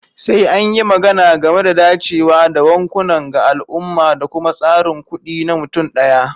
Sai an yi magana game da dacewa da bankunan ga al'umma da kuma tsarin kuɗi na mutum ɗaya.